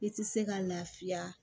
I tɛ se ka lafiya